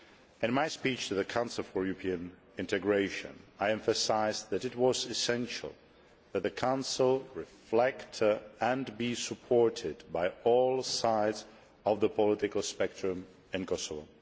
In my speech to the Council for European Integration, I emphasised that it was essential that the Council reflect and be supported by all sides of the political spectrum in Kosovo.